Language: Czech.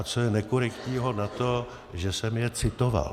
A co je nekorektního na tom, že jsem je citoval?